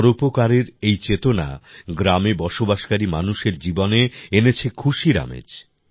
পরোপকারের এই চেতনা গ্রামে বসবাসকারী মানুষের জীবনে এনেছে খুশির আমেজ